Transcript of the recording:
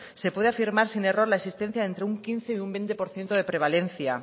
se puede afirmar sin error la existencia entre un quince y un veinte por ciento de prevalencia